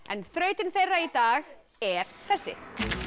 en þrautin þeirra í dag er þessi